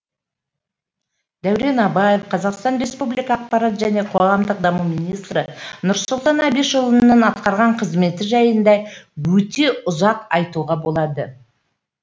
дәурен абаев қр ақпарат және қоғамдық даму министрі нұрсұлтан әбішұлының атқарған қызметі жайында өте ұзақ айтуға болады